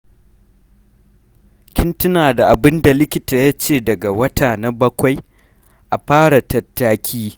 Kin tuna da abinda likita ya ce daga wata na bakwai a fara tattaki.